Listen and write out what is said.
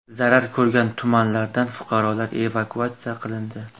Zarar ko‘rgan tumanlardan fuqarolar evakuatsiya qilindi.